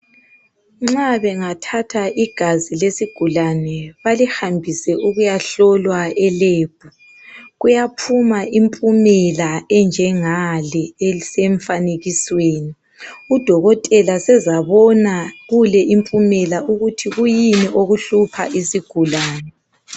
Nxa bengathatha igazi lesigulane balihambise ukuyahlolwa e lab kuyaphuma impumela enjengale esemfanekisweni. Udokotela usezàbona kule impumela ukuthi kuyini okuhlupha isigulane.